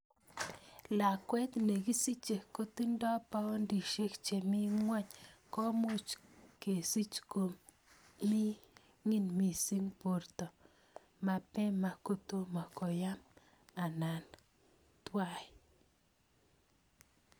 Lakwet ne kisiche kotindoi poundishek che mii nguny ko much kesich ko mining mising porto, mapema kotomo koyam anan twai.